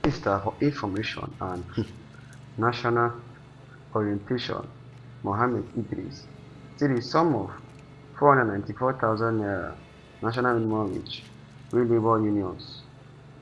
di minister for information and um national um orientation mohammed idris say di sum of n494000 national minimum wage wey labour unions